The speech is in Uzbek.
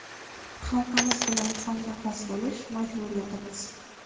Xalqimiz bilan hamnafas bo‘lish – majburiyatimiz!